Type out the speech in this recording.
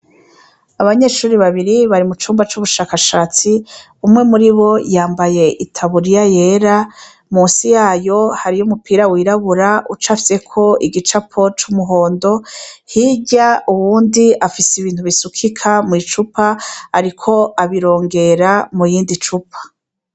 Abanyeshuri babiri bari mucumba c'ubushakashatsi, umwe muribo yambaye itaburiya yera, munsi yayo hariyo umupira wirabura ucafyeko igicapo c'umuhondo, hirya uwundi afise ibintu bisukika mw'icupa, ariko abirongera murindi cupa.